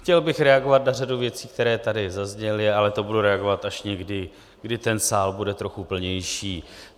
Chtěl bych reagovat na řadu věcí, které tady zazněly, ale to budu reagovat až někdy, kdy ten sál bude trochu plnější.